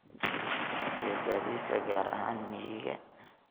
iyo gaadiidka gaar ahaan miyiga.